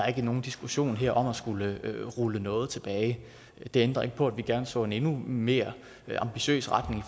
er nogen diskussion her om at skulle rulle noget tilbage det ændrer ikke på at vi gerne så en endnu mere ambitiøs retning